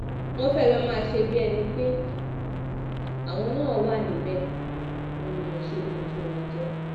wọ́n fẹ́ẹ́ lọ́ọ́ máa ṣe bíi ẹni pé àwọn náà wà níbẹ̀ òun ni mo ṣe ba ojú wọn jẹ́